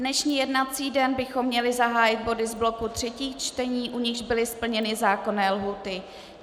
Dnešní jednací den bychom měli zahájit body z bloku třetích čtení, u nichž byly splněny zákonné lhůty.